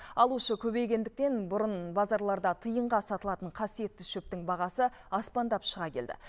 алушы көбейгендіктен бұрын базарларда тиынға сатылатын қасиетті шөптің бағасы аспандап шыға келді